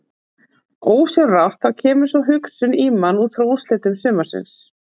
Ósjálfrátt þá kemur sú hugsun í mann útfrá úrslitum sumarsins.